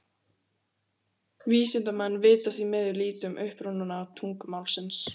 Vísindamenn vita því miður lítið um uppruna tungumálsins.